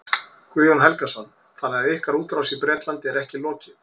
Guðjón Helgason: Þannig að ykkar útrás í Bretlandi er ekki lokið?